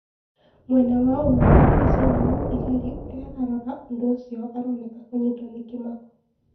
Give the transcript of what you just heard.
Mwena wa umotho diricaine mũũthigari urĩa ũrarora ũndũ ũcio aroneka kũnyitwo nĩ kĩmako